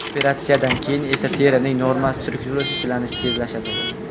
Operatsiyadan keyin esa terining normal strukturasi tiklanishi tezlashadi.